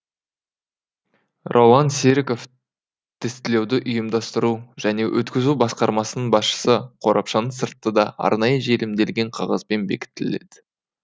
роллан серіков тестілеуді ұйымдастыру және өткізу басқармасының басшысы қорапшаның сырты да арнайы желімделген қағазбен бекітіледі